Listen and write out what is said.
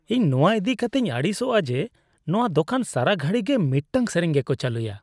ᱤᱧ ᱱᱚᱣᱟ ᱤᱫᱤ ᱠᱟᱛᱮᱧ ᱟᱹᱲᱤᱥᱚᱜᱼᱟ ᱡᱮ ᱱᱚᱣᱟ ᱫᱚᱠᱟᱱ ᱥᱟᱨᱟᱼᱜᱷᱟᱹᱲᱤ ᱜᱮ ᱢᱤᱫᱛᱟᱝ ᱥᱮᱨᱮᱧ ᱜᱮᱠᱚ ᱪᱟᱹᱞᱩᱭᱟ ᱾